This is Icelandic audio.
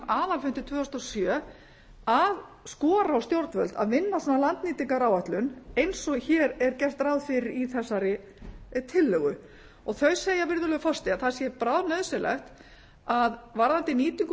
aðalfundi tvö þúsund og sjö að skora á stjórnvöld að vinna svona landnýtingaráætlun eins og hér er gert ráð fyrir í þessari tillögu þau segja virðulegur forseti að það sé bráðnauðsynlegt að varðandi nýtingu